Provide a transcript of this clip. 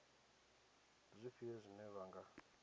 ndi zwifhio zwine vha nga